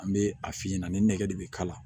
An bɛ a fiyɛ ɲɛnana ni nɛgɛ de bɛ kala